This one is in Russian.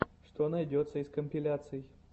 что найдется из компиляций